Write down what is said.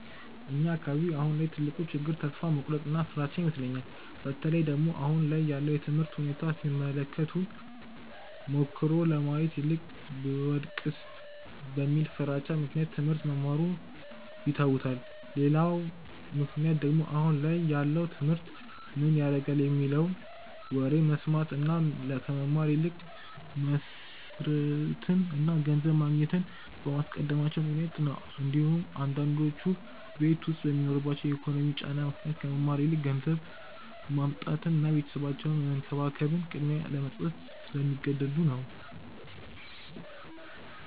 እኛ አካባቢ አሁን ላይ ትልቁ ችግር ተስፋ መቁረጥ እና ፍራቻ ይመስለኛል። በተለይ ደግሞ አሁን ላይ ያለውን የትምህርት ሁኔታ ሲመለከቱ ሞክሮ ከማየት ይልቅ ብወድቅስ በሚለው ፍራቻ ምክንያት ትሞህርት መማሩን ይተውታል። ሌላው ምክንያት ደግሞ አሁን ላይ ያለውን ትምህርት ምን ያረጋል የሚለውን ወሬ በመስማት እና ከመማር ይልቅ መስርትን እና ገንዘብ ማግኘትን በማስቀደማቸው ምክንያት ነው እንዲሁም አንዳንዶቹ ቤት ዉስጥ በሚኖርባቸው የኢኮኖሚ ጫና ምክንያት ከመማር ይልቅ ገንዘብ ማምጣትን እና ቤተሰባቸውን መንከባከብን ቅድሚያ ለመስጠት ስለሚገደዱ ነው።